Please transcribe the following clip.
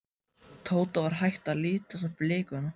Tóta var hætt að lítast á blikuna.